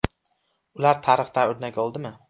Ular tarixdan o‘rnak oldimi?